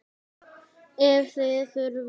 Ef þið þurfið.